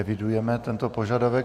Evidujeme tento požadavek.